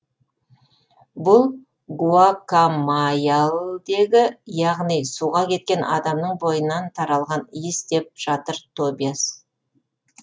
бұл гуакамайялдегі әлгі суға кеткен адамның бойынан таралған иіс деп жатыр тобиас